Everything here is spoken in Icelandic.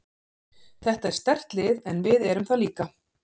Þetta er sterkt lið en við erum það líka.